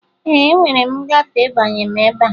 Ee, enwere m ngafe ịbanye m ebe a